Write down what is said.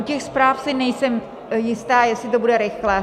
U těch zpráv si nejsem jistá, jestli to bude rychle.